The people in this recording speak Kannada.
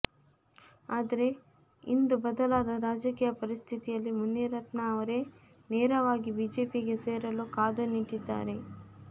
ಆದ್ರೆ ಇಂದು ಬದಲಾದ ರಾಜಕೀಯ ಪರಿಸ್ಥಿತಿಯಲ್ಲಿ ಮುನಿರತ್ನ ಅವರೇ ನೇರವಾಗಿ ಬಿಜೆಪಿಗೆ ಸೇರಲು ಕಾದು ನಿಂತಿದ್ದಾರೆ